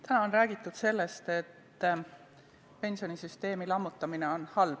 Täna on räägitud sellest, et pensionisüsteemi lammutamine on halb.